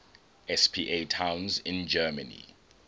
spa towns in germany